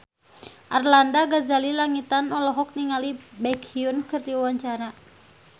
Arlanda Ghazali Langitan olohok ningali Baekhyun keur diwawancara